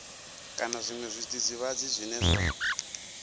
kana zwiṅwe zwidzidzivhadzi zwine zwa